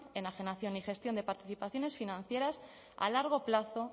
enajenación y gestión de participaciones financieras a largo plazo